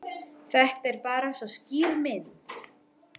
Þetta er bara svo skýr mynd.